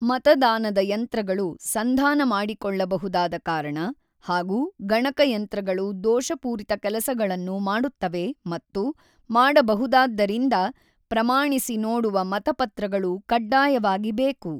ಮತದಾನದ ಯಂತ್ರಗಳು ಸಂಧಾನ ಮಾಡಿಕೊಳ್ಳಬಹುದಾದ ಕಾರಣ ಹಾಗೂ ಗಣಕಯಂತ್ರಗಳು ದೋಷಪೂರಿತ ಕೆಲಸಗಳನ್ನು ಮಾಡುತ್ತವೆ ಮತ್ತು ಮಾಡಬಹುದಾದ್ದರಿಂದ ಪ್ರಮಾಣಿಸಿ ನೋಡುವ ಮತಪತ್ರಗಳು ಕಡ್ಡಾಯವಾಗಿ ಬೇಕು.